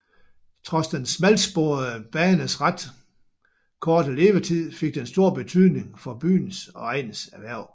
Trods den smalsporede banes ret korte levetid fik den stor betydning for byens og egnens erhverv